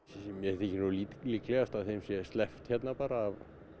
mér þykir nú líklegast að þeim sé sleppt hérna bara af